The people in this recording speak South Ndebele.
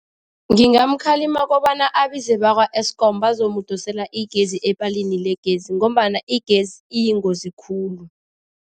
Ngingamkhalima kobana abize bakwa-Eskom bazomdosela igezi epalini legezi ngombana igezi iyingozi khulu.